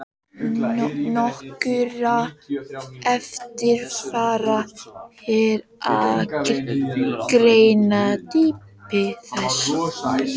Nokkru erfiðara er að greina dýpi þess.